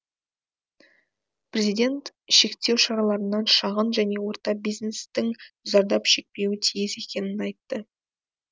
президент шектеу шараларынан шағын және орта бизнестің зардап шекпеуі тиіс екенін айтты